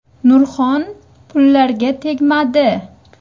Nurxon pullarga tegmadi.